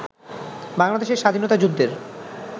বাংলাদেশের স্বাধীনতা যুদ্ধের